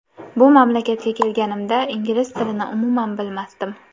Bu mamlakatga kelganimda ingliz tilini umuman bilmasdim.